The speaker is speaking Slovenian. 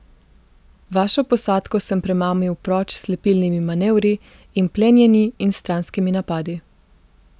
Vašo posadko sem premamil proč s slepilnimi manevri in plenjenji in stranskimi napadi.